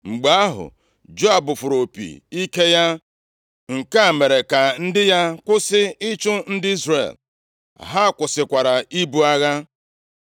Mgbe ahụ, Joab fụrụ opi + 2:28 Ị fụụ opi ike, nwere ike ị bụ ịkpọsa mbido agha, maọbụ mkpọsa ka a kwụsị agha. \+xt Nkp 7:16-20; 2Sa 2:28; 20:22\+xt* ike ya. Nke a mere ka ndị ya kwụsị ịchụ ndị Izrel. Ha kwụsịkwara ibu agha.